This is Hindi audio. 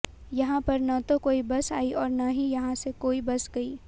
यहां पर न तो कोई बस आई और न ही यहां से कोई बस गई